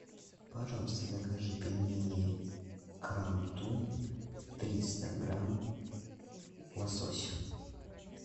пожалуйста закажи пельмени крам тум триста грамм лосось